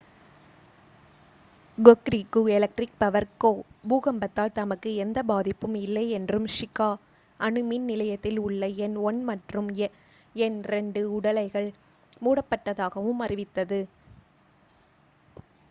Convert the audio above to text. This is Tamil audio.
hokuriku electric power co பூகம்பத்தால் தமக்கு எந்த பாதிப்பும் இல்லையென்றும் shika அணுமின் நிலையத்தில் உள்ள எண் 1 மற்றும் எண் 2 உலைகள் மூடப்பட்டதாகவும் அறிவித்தது